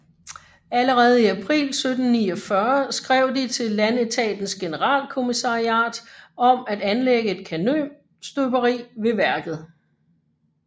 Allerede i april 1749 skrev de til Landetatens Generalkommissariat om at anlægge et kanonstøberi ved værket